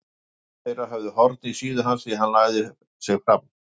Sumir þeirra höfðu horn í síðu hans því hann lagði sig fram.